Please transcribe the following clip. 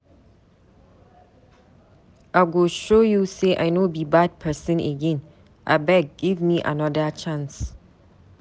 I go show you sey I no be bad pesin again, abeg give me anoda chance.